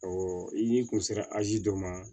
i kun sera azi dɔ ma